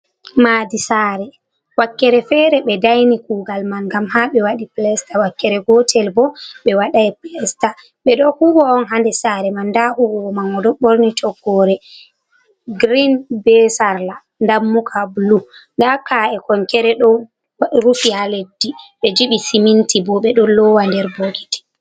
Madi sare, wakkere fere ɓe daini kugal man gam ha ɓe waɗi plesta, wakkere gotel bo ɓe waɗai plesta, ɓe ɗo huwa on haa nder sare man, nda huwowo man o ɗo borni toggore grein be sarla dammuka blu, nda ka’e konkere ɗo rufi ha leddi ɓe jibi siminti bo, ɓe don lowa nder bokiti.